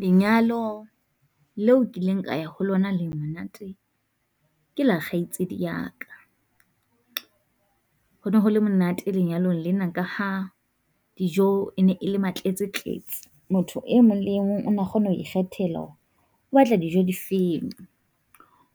Lenyalo leo ke ileng ka ya ho lona le monate, ke la kgaitsedi ya ka. Ho no ho le monate lenyalong lena ka ha dijo e ne e le ma tletse tletse, motho e mong le e mong o na kgona ho ikgethela hore o batla dijo di feng.